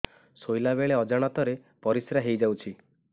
ଶୋଇଲା ବେଳେ ଅଜାଣତ ରେ ପରିସ୍ରା ହେଇଯାଉଛି